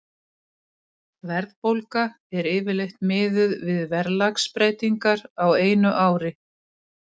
Verðbólga er yfirleitt miðuð við verðlagsbreytingar á einu ári.